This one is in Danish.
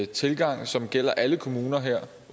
tilgang som gælder alle kommuner her